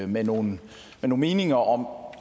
med nogle meninger om